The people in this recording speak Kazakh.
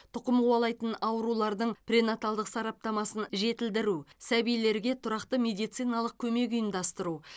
тұқым қуалайтын аурулардың пренаталдық сараптамасын жетілдіру сәбилерге тұрақты медициналық көмек ұйымдастыру